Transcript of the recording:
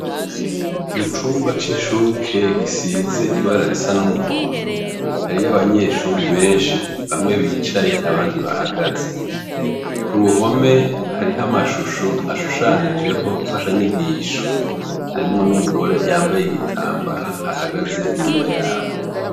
Mu cumba c'incuke, gisize ibara risa n'umuhondo hariyo, hariyo abanyeshure benshi bamwe bicaye abandi bahagaze. Ku ruhome, hariho amashusho ashushanijeho nfashanyigisho. Harimwo n'umugore yambaye igitambara ahagaze inyuma yabo.